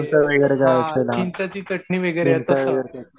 लोणचं वगैरे ते असतंय ना चिंचेची चटणी